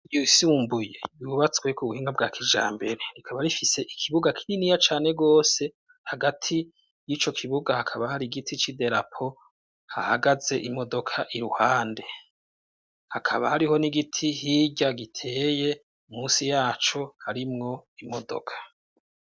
Iyosiyumbuye bibubatsweko ubuhinga bwa kija mbere rikaba rifise ikibuga kininiya cane rwose hagati y'ico kibuga hakaba hari igiti c'i delapo hahagaze imodoka i ruhande hakaba hariho nigiti hirya giteye musi yaco harimwo imodoka.